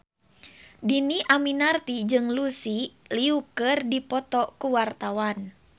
Dhini Aminarti jeung Lucy Liu keur dipoto ku wartawan